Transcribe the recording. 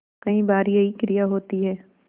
कई बार यही क्रिया होती है